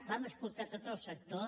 vam escoltar tot el sector